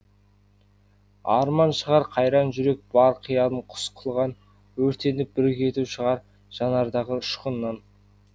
арман шығар қайран жүрек бар қиялын құс қылған өртеніп бір кету шығар жанардағы ұшқыннан